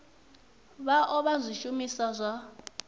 vha o vha zwishumiswa zwa